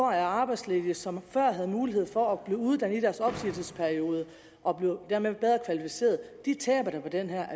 er arbejdsledige som før havde mulighed for at blive uddannet i deres opsigelsesperiode og dermed bedre kvalificeret taber da på det her